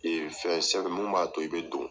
Ee fɛn sɛki mun b'a to i be don